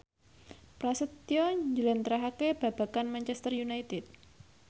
Prasetyo njlentrehake babagan Manchester united